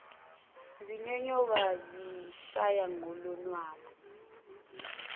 zinyonyoba zishaya ngolonwabu